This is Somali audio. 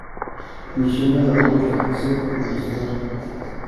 Mashiinada abuurku waxay kordhiyaan wax soo saarka.